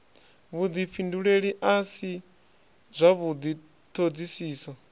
vhudifhinduleli a si zwavhudi thodisiso